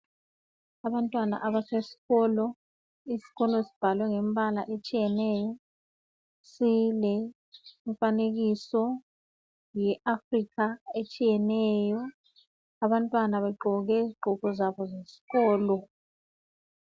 Abantwana abasesikolo, isikolo sibhalwe ngembala etshiyeneyo silemifanekiso yeAfrica etshiyeneyo, abantwana begqoke izigqoko zabo zesikolo